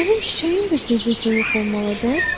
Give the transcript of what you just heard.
Mənim çiçəyim də tezliklə yox olmalıdır?